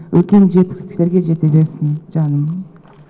үлкен жетістіктерге жете берсін жаным